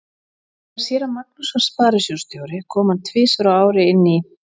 Þegar séra Magnús var sparisjóðsstjóri kom hann tvisvar á ári inn í